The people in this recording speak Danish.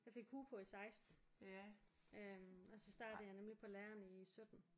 Jeg fik hue på i 16 øh og så startede jeg nemlig på læreren i 17